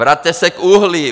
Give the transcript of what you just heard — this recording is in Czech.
Vraťte se k uhlí.